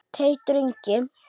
Teitur Ingi.